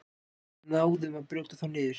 Við náðum að brjóta þá niður